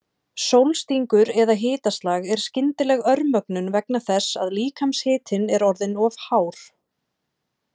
Sólstingur eða hitaslag er skyndileg örmögnun vegna þess að líkamshitinn er orðinn of hár.